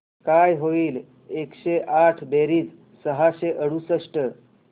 काय होईल एकशे आठ बेरीज सहाशे अडुसष्ट